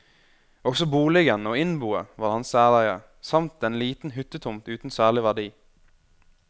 Også boligen og innboet var hans særeie, samt en liten hyttetomt uten særlig verdi.